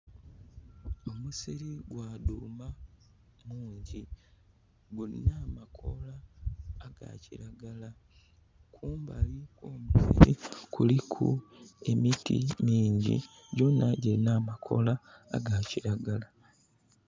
Omusiri gwa dhuuma mungi. Gulina amakoola aga kiragala. Kumbali kuliku emiti mingi, gyona gilina amakoola aga kiragala.